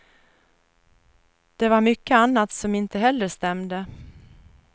Det var mycket annat som inte heller stämde.